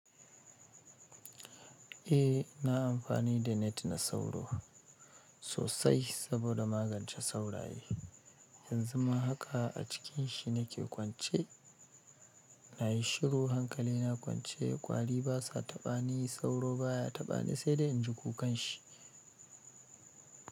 Eh na amfani da net na sauro sosai saboda magance sauraye. Yanzu ma haka a cikin shi nake kwance, nayi shiru hankali na kwance, ƙwari basa taɓa ni sauro baya taɓa ni sai da inji kukan shi.